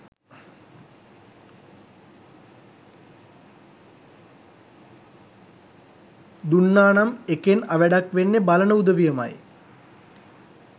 දුන්නා නම් එකෙන් අවැඩක් වෙන්නේ බලන උදවියමයි.